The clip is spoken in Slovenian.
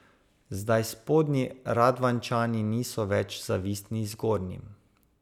Zdaj spodnji Radvanjčani niso več zavistni zgornjim.